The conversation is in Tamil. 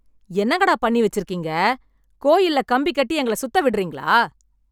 என்னங்கடா பண்ணி வச்சிருக்கீங்க கோயில்ல கம்பி கட்டி எங்கள சுத்த விடுறீங்களா